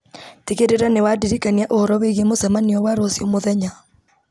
tigĩrĩra nĩ wandirikania ũhoro wĩgiĩ mũcemanio wa rũciũ mũthenya